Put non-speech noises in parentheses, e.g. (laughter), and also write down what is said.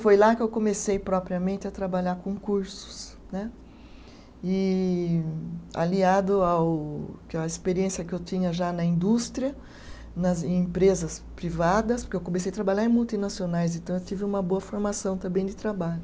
Foi lá que eu comecei propriamente a trabalhar com cursos né, e aliado ao (unintelligible) à experiência que eu tinha já na indústria, nas empresas privadas, porque eu comecei a trabalhar em multinacionais, então eu tive uma boa formação também de trabalho.